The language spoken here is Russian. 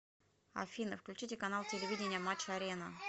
афина включите канал телевидения матч арена